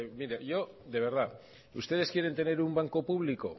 mire yo de verdad ustedes quieren tener un banco público